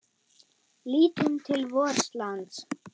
Lítum til vors lands.